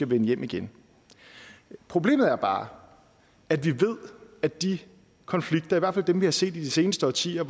vende hjem igen problemet er bare at vi ved at de konflikter i hvert fald dem vi har set de seneste årtier og